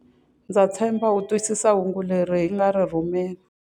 Ndza tshemba u twisisa hungu leri hi nga ri rhumela.